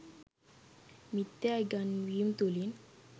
මිථ්‍යා ඉගැන්වීම් තුළින්